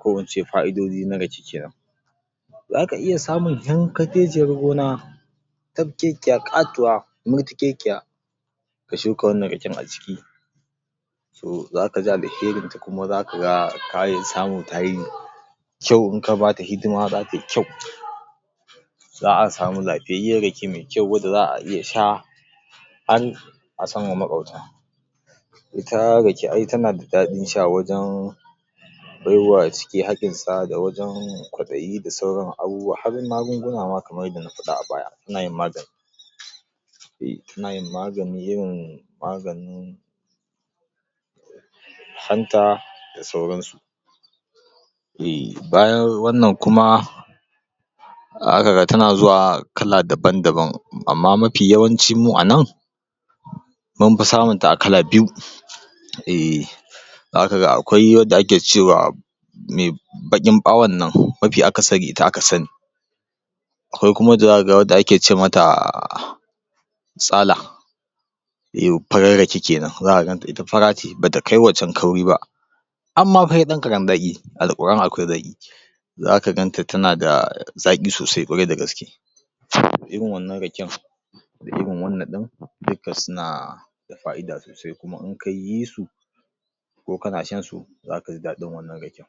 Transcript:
ko ince fai'idodi na rake kenan. Zaka iya samun tankaceciyar gona, tafkekiya, ƙatuwa, murtukekiya, ka shuka wannan raken a ciki, to za ka ga alherinta kuma za ka ga tayi, ta samu ta yi kyau, in ka bata hidima za tai kyau. za'a sami lafiyayyiyar rake mai kyau wacce za'a iya sha, har a samma maƙwabta. Ita rake ai tana da daɗin sha wajen baiwa ciki hakinsa da wajen kwaɗayi da sauran abubuwa, har magunguna ma kamar yadda na faɗa a baya, anayin magani tana yin magani, irin maganin hanta da sauransu. Ehh bayan wannan kuma, tana zuwa kala dabam-dabam amma mafi yawanci mu anan mun fi samunta a kala biyu, ehhh za ka ga akwai wadda ake cewa, me baƙin ɓawon nan, mafi akasari ita aka sani. Akwai kuma wacce za ka ga, wacce ake ce mata, tsala, yo farar rake kenan, za ka ganta ita fara ce bata kai waccen kauri ba. am, ma fa sai ɗan karen zaƙi, alkura'an akwai zaƙi. Za ka ganta tana da zaƙi sosai ƙwarai da gaske, irin wannan raken, da irin wanna ɗin duka suna da faida sosai, kuma in kayi su, ko kana shan su, za ka ji daɗin wannan raken.